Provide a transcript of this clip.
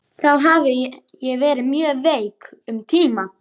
Þá hafði ég verið mjög veik um tíma.